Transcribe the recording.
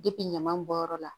ɲaman bɔ yɔrɔ la